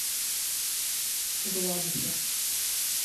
гладышев